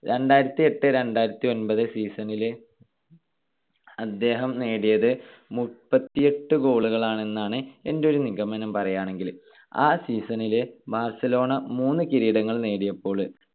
രണ്ടായിരത്തിയെട്ട് - രണ്ടായിരത്തിഒൻപത് season ൽ അദ്ദേഹം നേടിയത് മുപ്പത്തിയെട്ടു goal കളാണ് എന്നാണ് എൻ്റെ ഒരു നിഗമനം പറയാണെങ്കില്. ആ season ൽ ബാർസലോണ മൂന്ന് കിരീടങ്ങൾ നേടിയപ്പോള്